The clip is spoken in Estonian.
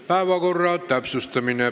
Päevakorra täpsustamine.